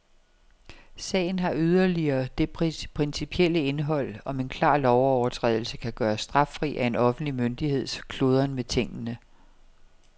Sagen har yderligere det principielle indhold, om en klar lovovertrædelse kan gøres straffri af en offentlig myndigheds kludren med tingene.